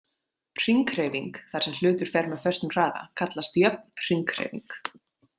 Hringhreyfing, þar sem hlutur fer með föstum hraða kallast jöfn hringhreyfing.